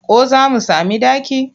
Ko za mu sami ɗaki?